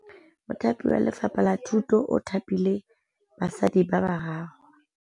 Mothapi wa Lefapha la Thutô o thapile basadi ba ba raro.